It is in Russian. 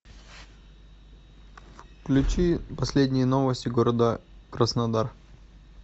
включи последние новости города краснодар